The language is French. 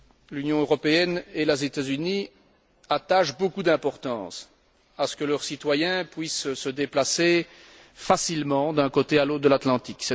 L'Union européenne et les États Unis attachent beaucoup d'importance à ce que leurs citoyens puissent se déplacer facilement d'un côté à l'autre de l'Atlantique.